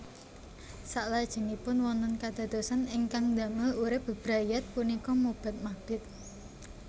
Saklajengipun wonten kadadosan ingkang ndamel urip bebrayat punika mobat mabit